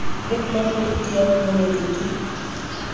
le mmamoruti ya mmoledi ke